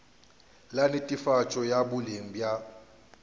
la netefatšo ya boleng bja